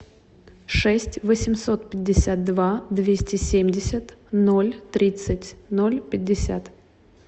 шесть восемьсот пятьдесят два двести семьдесят ноль тридцать ноль пятьдесят